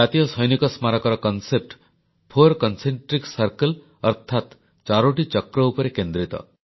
ଜାତୀୟ ସୈନିକ ସ୍ମାରକୀର ରୂପରେଖ ଫୋର କନସେଣ୍ଟ୍ରିକ୍ ସର୍କିଲ୍ ଅର୍ଥାତ୍ ଚାରୋଟି ଚକ୍ର ଉପରେ କେନ୍ଦ୍ରିତ